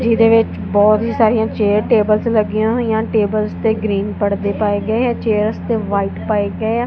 ਜਿਹਦੇ ਵਿੱਚ ਬਹੁਤ ਸਾਰੀਆਂ ਚੇਅਰਸ ਟੇਬਲਸ ਲੱਗੀਆਂ ਹੋਈਆਂ ਟੇਬਲਸ ਤੇ ਗ੍ਰੀਨ ਪੜਦੇ ਪਾਏ ਗਏ ਆ ਚੇਅਰਸ ਤੇ ਵਾਈਟ ਪਾਏ ਗਏ ਆ।